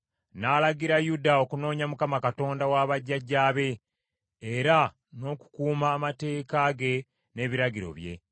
N’alagira Yuda okunoonya Mukama Katonda wa bajjajjaabe, era n’okukuuma amateeka ge n’ebiragiro bye.